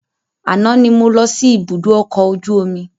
Àná ni mo lọ sí ibùdó ọkọ̀ ojú omi.